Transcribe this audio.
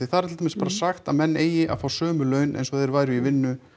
þar er til dæmis bara sagt að menn eigi að fá sömu laun eins og þeir væru í vinnu